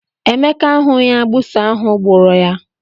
Emeka ahughi agbụsị ahụ gbara ya.